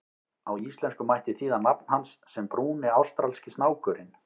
Á íslensku mætti þýða nafn hans sem Brúni ástralski snákurinn.